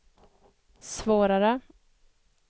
svårare